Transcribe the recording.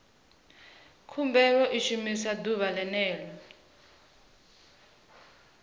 khumbelo i shumiwa ḓuvha ḽene ḽo